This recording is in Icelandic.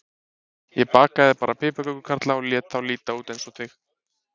Ég bakaði bara piparkökukarla og lét þá líta út eins og þig.